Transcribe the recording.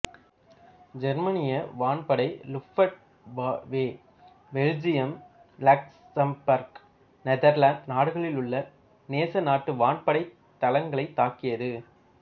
ஜெர்மானிய வான்படை Luftwaffe Belgium Luxembourg Netherlands நாடுகளிலுள்ள நேசநாட்டு வான்படைத் தளங்களைத் தாக்கியது